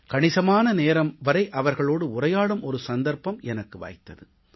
கணிசமான நேரம் வரை அவர்களோடு உரையாடும் ஒரு சந்தர்ப்பம் எனக்கு வாய்த்தது